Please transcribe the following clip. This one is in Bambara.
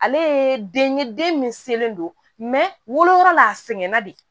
Ale ye den ye den min selen don woloyɔrɔ la a sɛgɛnna de